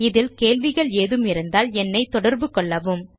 இதில் கேள்விகள் ஏதுமிருந்தால் என்னைத்தொடர்பு கொள்ளவும்